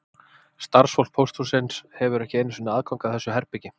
Starfsfólk pósthússins hefur ekki einu sinni aðgang að þessu herbergi